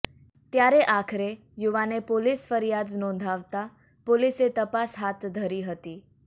ત્યારે આખરે યુવાને પોલીસ ફરિયાદ નોંધાવતા પોલીસે તપાસ હાથ ધરી હતી